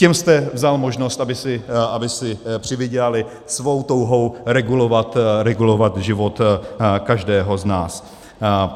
Těm jste vzal možnost, aby si přivydělali, svou touhou regulovat život každého z nás.